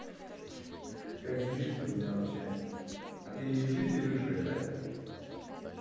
как делишки то у тебя вообще а ты и в жизни рыжая да